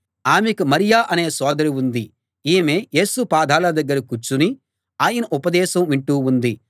ఆమెకు మరియ అనే సోదరి ఉంది ఈమె యేసు పాదాల దగ్గర కూర్చుని ఆయన ఉపదేశం వింటూ ఉంది